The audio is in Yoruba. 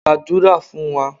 gbadura fun wa!